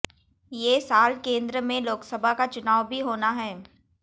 ये साल केंद्र में लोकसभा का चुनाव भी होना है